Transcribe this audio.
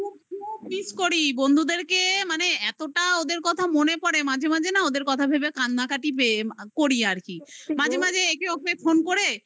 খুব miss করি বন্ধুদেরকে মানে এতটা ওদের কথা মনে পড়ে মাঝে মাঝে না ওদের কথা ভেবে কান্নাকাটি পেয়ে করি আর কি মাঝে মাঝে একে ওকে phone করে